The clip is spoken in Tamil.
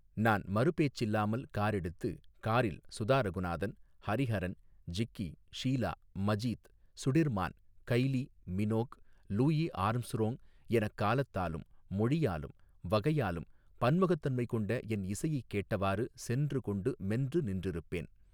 நான் மறு பேச்சில்லாமல் காரெடுத்து காரில் Sudha Raghunathan Hariharan Jikki Sheila Majid Sudirman Kylie Minogue Louis Armstrong எனக் காலத்தாலும் மொழியாலும் வகையாலும் பன்முகத்தன்மை கொண்ட என் இசையைக் கேட்டவாறு சென்று கொண்டு மென்று நின்றிருப்பேன்.